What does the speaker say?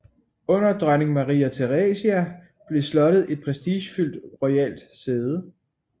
Under dronning Maria Theresia blev slottet et prestigefyldt royalt sæde